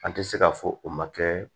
An tɛ se ka fɔ o ma kɛ